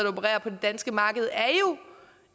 opererer på det danske marked er jo